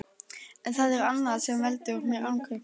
En það er annað sem veldur mér angri.